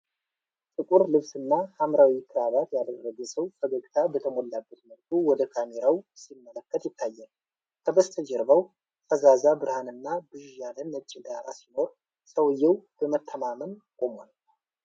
ጥቁር ልብስና ሐምራዊ ክራባት ያደረገ ሰው ፈገግታ በተሞላበት መልኩ ወደ ካሜራው ሲመለከት ይታያል። ከበስተጀርባው ፈዛዛ ብርሃንና ብዥ ያለ ነጭ ዳራ ሲኖር፣ ሰውዬው በመተማመን ቆሞአል።